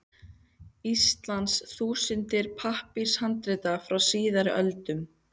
Íslands þúsundir pappírshandrita frá síðari öldum.